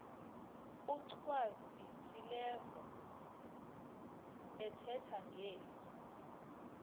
achwavitilevo ethetha ngeli